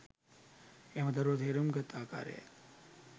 එම දරුවා තේරුම් ගත් ආකාරයයි.